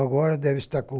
Agora deve estar com...